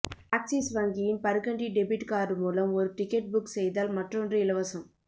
axis வங்கியின் Burgundy debit card மூலம் ஒரு டிக்கெட் புக் செய்தால் மற்றொன்று இலவசம்